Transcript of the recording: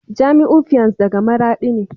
Jamiu fiance daga maradi ne